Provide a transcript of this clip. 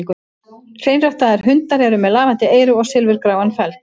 Hreinræktaðir hundar eru með lafandi eyru og silfurgráan feld.